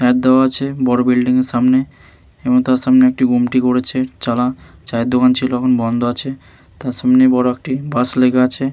Add দেওয়া আছে। বড়ো বিল্ডিং এর সামনে এবং তার সামনে একটি গুমটি করেছে চালা। চায়ের দোকান ছিল এখন বন্ধ আছে। তার সামনে বড়ো একটি বাস লিগা আছে।